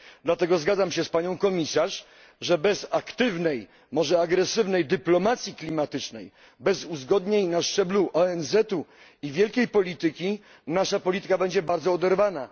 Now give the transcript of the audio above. Dlatego zgadzam się z panią komisarz, że bez aktywnej, może nawet agresywnej dyplomacji klimatycznej, bez uzgodnień na szczeblu ONZ i wielkiej polityki nasza polityka będzie bardzo oderwana.